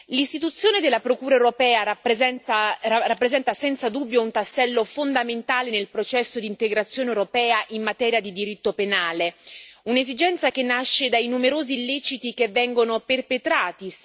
L'istituzione della Procura europea rappresenta senza dubbio un tassello fondamentale nel processo di integrazione europea in materia di diritto penale, un'esigenza che nasce dai numerosi illeciti che vengono perpetrati.